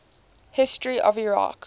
history of iraq